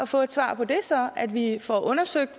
få et svar på det altså at vi får undersøgt